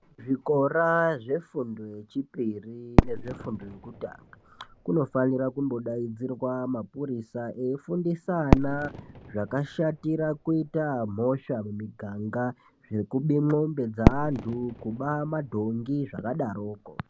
Zvikora zvefundo yechipiri nezvefundo yekutanga, kunofanirwa kumbodaidzirwa mapurisa, eifundisa ana zvakashatira kuita mhosva mumiganga, zvekubemwombe dzeantu kuba madhongi zvakadaroko.